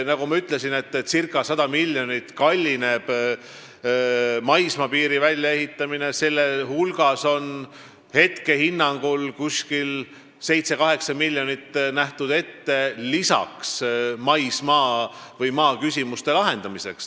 Nagu ma ütlesin, circa 100 miljonit kallineb maismaapiiri väljaehitamine, selle hulgas on praegusel hinnangul umbes 7–8 miljonit eurot ette nähtud maismaa- või maaküsimuste lahendamiseks.